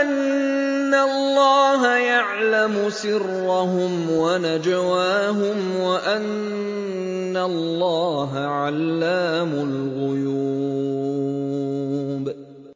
أَنَّ اللَّهَ يَعْلَمُ سِرَّهُمْ وَنَجْوَاهُمْ وَأَنَّ اللَّهَ عَلَّامُ الْغُيُوبِ